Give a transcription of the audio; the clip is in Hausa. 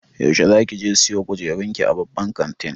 Yaushe zakije siyo kujerun ki a babban kantin.